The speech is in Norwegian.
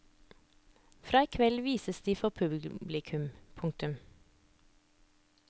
Fra i kveld vises de for publikum. punktum